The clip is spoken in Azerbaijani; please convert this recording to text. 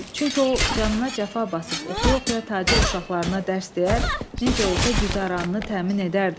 Çünki o canına cəfa basıb oxuya-oxuya tacir uşaqlarına dərs deyər, necə olsa güzəranını təmin edərdi.